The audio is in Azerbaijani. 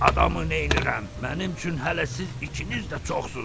Adamı nəyirəm, mənim üçün hələ siz ikiniz də çoxsuz.